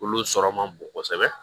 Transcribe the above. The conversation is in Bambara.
Olu sɔrɔ man bon kosɛbɛ